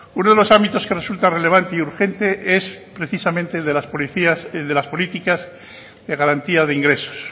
uno de los ámbitos que resulta relevante y urgente es precisamente el de las políticas de garantía de ingresos